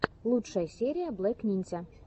лучшая серия блек нинзя